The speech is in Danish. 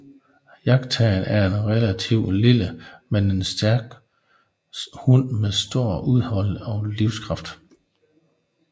Jagtterrieren er relativt lille men en ekstrem stærk hund med stor udholdenhed og livskraft